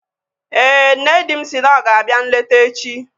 Éè, nne di m si na ọ ga-abịa nleta echi